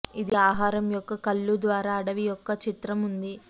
ఇది ఆహారం యొక్క కళ్ళు ద్వారా అడవి యొక్క చిత్రం ఉంది